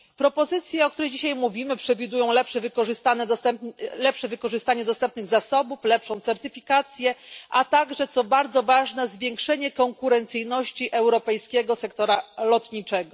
Propozycje, o której dzisiaj mówimy, przewidują lepsze wykorzystanie dostępnych zasobów, lepszą certyfikację, a także, co bardzo ważne, zwiększenie konkurencyjności europejskiego sektora lotniczego.